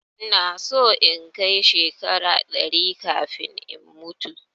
Ina so in kai shekara ɗari kafin in mutu